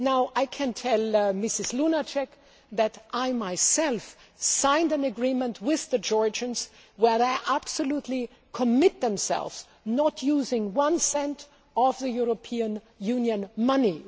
I can tell Mrs Lunacek that I myself signed an agreement with the Georgians where they absolutely commit themselves to not using one cent of the European Union money.